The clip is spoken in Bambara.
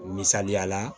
Misaliya la